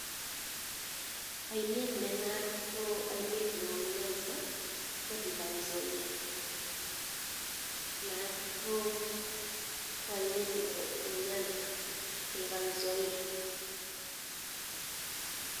Ainet neo en Nyanza ko River Nzoia.